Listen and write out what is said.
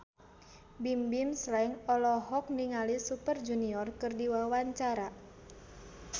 Bimbim Slank olohok ningali Super Junior keur diwawancara